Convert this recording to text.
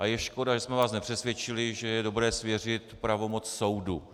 A je škoda, že jsme vás nepřesvědčili, že je dobré svěřit pravomoc soudu.